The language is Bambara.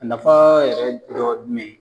A nafa yɛrɛ dɔ ye jumɛn ye?